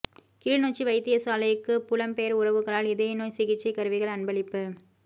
கிளிநொச்சி வைத்தியசாலைக்கு புலம் பெயர் உறவுகளால் இதய நோய் சிகிசை கருவிகள் அன்பளிப்பு